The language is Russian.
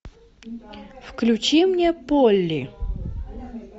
включи мне полли